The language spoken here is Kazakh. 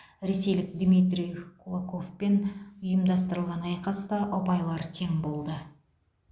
ресейлік дмитрий кулоковпен ұйымдастырылған айқаста ұпайлар тең болды